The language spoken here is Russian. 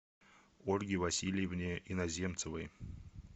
ольге васильевне иноземцевой